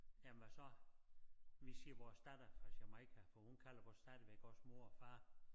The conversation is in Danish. Jamen og så vi siger vores datter fra Jamaica for hun kalder os stadigvæk også mor og far